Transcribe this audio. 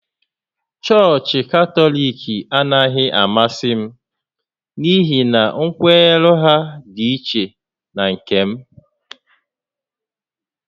Chọọchị Katọlik anaghị amasị m n’ihi na nkwenye ha dị ichè na nke m